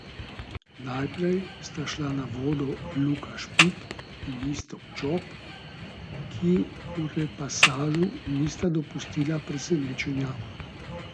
Najprej sta šla na vodo Luka Špik in Iztok Čop, ki v repasažu nista dopustila presenečenja.